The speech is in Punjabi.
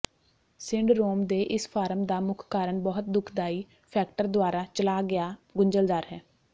ਸਿੰਡਰੋਮ ਦੇ ਇਸ ਫਾਰਮ ਦਾ ਮੁੱਖ ਕਾਰਨ ਬਹੁਤ ਦੁਖਦਾਈ ਫੈਕਟਰ ਦੁਆਰਾ ਚਲਾ ਗਿਆ ਗੁੰਝਲਦਾਰ ਹੈ